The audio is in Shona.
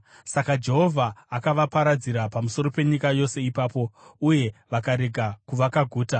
Saka Jehovha akavaparadzira pamusoro penyika yose ipapo, uye vakarega kuvaka guta.